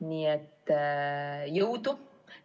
Nii et jõudu!